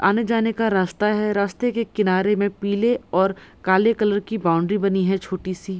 आने-जाने का रास्ता है रास्ते के किनारे में पीले और काले कलर की बाउंड्री बनी है छोटे-सी।